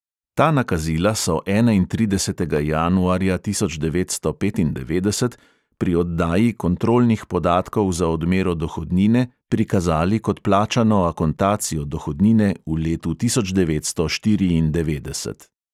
Ta nakazila so enaintridesetega januarja tisoč devetsto petindevetdeset pri oddaji kontrolnih podatkov za odmero dohodnine prikazali kot plačano akontacijo dohodnine v letu tisoč devetsto štiriindevetdeset.